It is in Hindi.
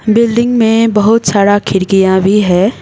बिल्डिंग में बहोत सारा खिड़कियां भी हैं।